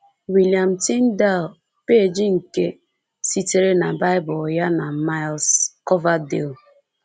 William Tyndale, peeji nke sitere na Bible ya, na Miles Coverdale